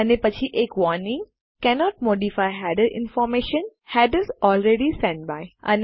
અને પછી એક warning cannot modify header information - headers already sent by